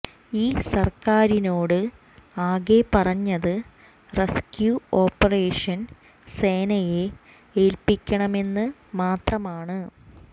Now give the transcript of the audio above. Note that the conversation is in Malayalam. ഈ സർക്കാറിനോട് ആകെ പറഞ്ഞത് റസ്ക്യൂ ഓപ്പറേഷൻ സേനയെ ഏൽപ്പിക്കണമെന്ന് മാത്രമാണ്